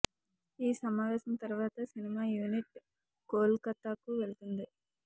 ఈ సమావేశం తర్వాత సినిమా యూనిట్ కోల్ కతా కు వెళ్తుంది